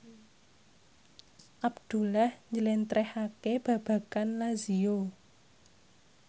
Abdullah njlentrehake babagan Lazio